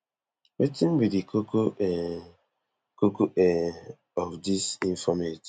wetin be di koko um koko um of dis informate